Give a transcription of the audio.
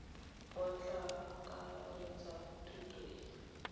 bo tla akaretsa thuto e